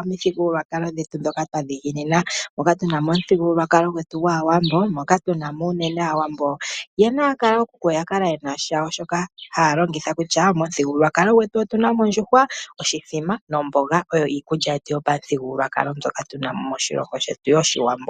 omithigululwakalo dhetu dhoka twadhiginina, moka tuna mo omuthigululwakalo gwetu gwaawambo, moka tunamo uunene aawambo nkene yakala ookuku oyakala yena shawo shoka hayalongitha kutya, momuthigululwakalo gwetu otuna mo ondjuhwa, oshithima nomboga oyo iikulya yetu yopamuthigululwakalo mbyoka tunamo moshilongo shetu yoshiwambo.